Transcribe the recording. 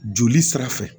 Joli sira fɛ